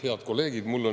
Head kolleegid!